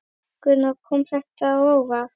Gunnar: Kom þetta á óvart?